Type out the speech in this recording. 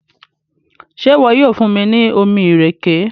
ṣe iwọ yoo fun mi ni omí ìrèké?